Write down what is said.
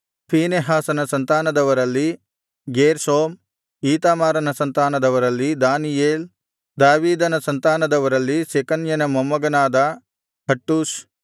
ಫೀನೆಹಾಸನ ಸಂತಾನದವರಲ್ಲಿ ಗೇರ್ಷೋಮ್ ಈತಾಮಾರನ ಸಂತಾನದವರಲ್ಲಿ ದಾನಿಯೇಲ್ ದಾವೀದನ ಸಂತಾನದವರಲ್ಲಿ ಶೆಕನ್ಯನ ಮೊಮ್ಮಗನಾದ ಹಟ್ಟೂಷ್